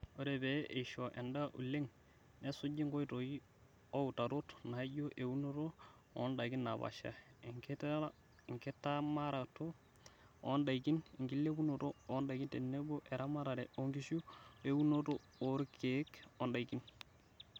Ore pee eishio endaa oleng nesuji nkoitoi ooutarot naijio eunoto ondaikin napaasha, enkitamanaroto ondaikin, enkilepunoto ondaikin tenebo eramatare oonkishu oo eunoto orkiek ondaikin.